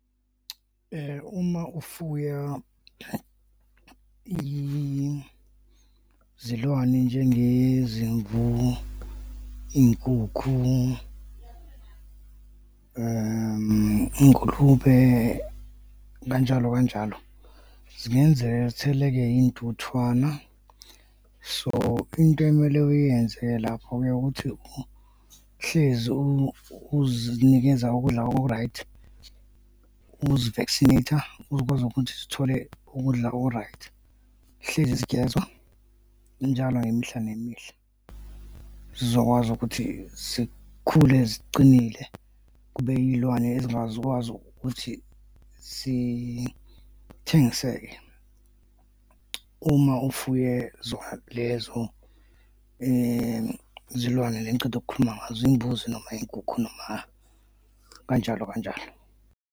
Uma ufuya izilwane njengezimvu, iy'nkukhu, iy'ngulube, kanjalo kanjalo, zingenzeka zitheleke iy'ntuthwana. So, into ekumele uyenze-ke lapho-ke ukuthi uhlezi uzonikeza ukudla oku-right, uzi-vaccinate-a, uzokwazi ukuthi zithole ukudla oku-right, hlezi zigezwa njalo imihla nemihla zizokwazi ukuthi zikhule ziqinile, kube iy'lwane ezingazukwazi ukuthi sithengiseke, uma ufuye zona lezo zilwane le engiceda ukukhuluma ngazo, uy'buzi noma iy'nkukhu noma kanjalo kanjalo.